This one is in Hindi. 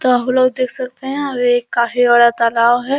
काफ़ी लोग देख सकते है आगे एक काफी बड़ा तालाब है ।